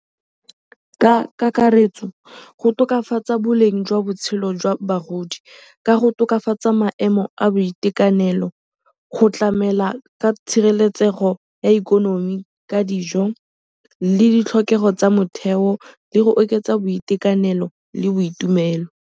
Ka kakaretso go tokafatsa boleng jwa botshelo jwa bagodi ka go tokafatsa maemo a boitekanelo go tlamela ka tshireletsego ya ikonomi ka dijo le ditlhokego tsa motheo le go oketsa boitekanelo le boitumelo.